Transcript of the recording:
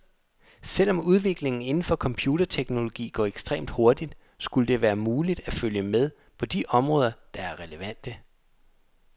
Selvom udviklingen inden for computerteknologi går ekstremt hurtigt, skulle det være muligt at følge med på de områder, der er relevante.